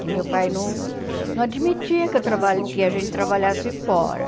Que meu pai não não admitia que eu traba que a gente trabalhasse fora.